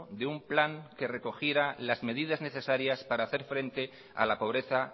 de un plan que recogiera las medidas necesarias para hacer frente a la pobreza